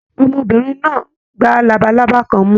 Ọmọbìnrin náà gbà labalábá kan mú.